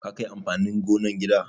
Ka kai amfanin gonan gida?